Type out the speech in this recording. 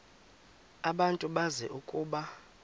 abantu bazi ukuba